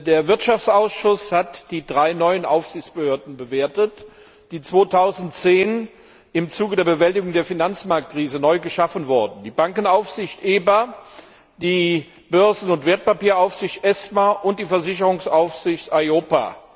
Der Wirtschaftsausschuss hat die drei neuen Aufsichtsbehörden bewertet, die 2010 im Zuge der Bewältigung der Finanzmarktkrise neu geschaffen wurden die Bankenaufsicht EBA, die Börsen und Wertpapieraufsicht ESMA und die Versicherungsaufsicht EIOPA.